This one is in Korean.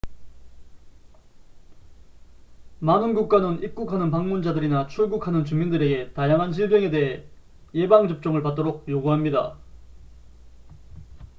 많은 국가는 입국하는 방문자들이나 출국하는 주민들에게 다양한 질병에 대해 예방 접종을 받도록 요구합니다